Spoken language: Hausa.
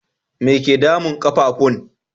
Me ke damun ƙafafun?